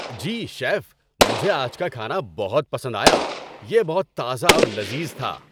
جی، chef, مجھے آج کا کھانا بہت پسند آیا۔ یہ بہت تازہ اور لذیذ تھا۔